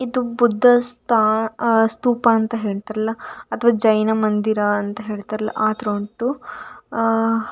ಇದು ಬುದ್ಧ ಸ್ತಾ ಸ್ಥೂಪ ಅಂತ ಹೇಳ್ತಾರಲಾ ಅಥವ ಜೈನ ಮಂದಿರ ಅಂತ ಹೇಳ್ತಾರಲಾ ಆ ತರ ಉಂಟು ಆ --